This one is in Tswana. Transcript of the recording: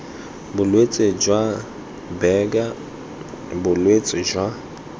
bolwetse jwa buerger bolwetse jwa